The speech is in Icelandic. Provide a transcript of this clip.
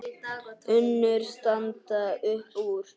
Önnur standa upp úr.